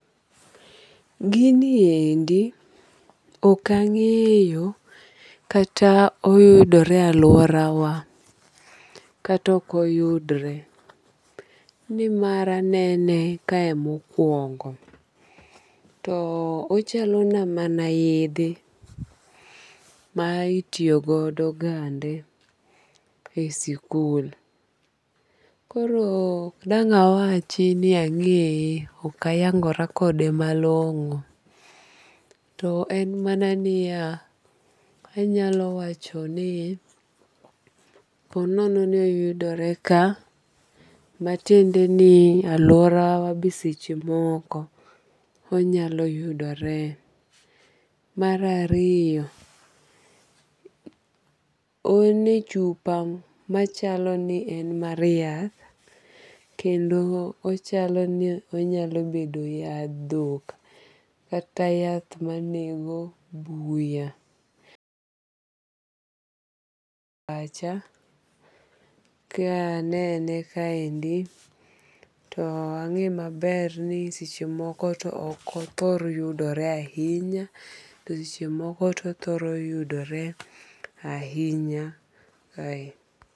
Giniendi ok ang'eyo kata oyudore e aluora wa kata ok oyudre. Nimar anene kae mokuongo. To ochalo na mana yedhe ma itiyo godo gande e sikul. Koro ok dang' awachi ni ang'eye. Ok ayangora kode malong'o. To en mana niya, anyalo wacho ni po nono ni oyudore ka matiende ni aluora wa be seche moko onyalo yudore. Mar ariyo en e chupa machalo ni en mar yath. Kendo ochalo ni onyalo bedo yadh dhok kata yath manego buya. [paise] pacha ka anene kaendi to ang'e maber ni seche moko to ok othor yudore ahinya to seche moko to othoro yudore ahinya kae.